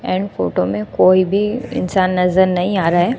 And photo में कोई भी इंसान नजर नहीं आ रहा है।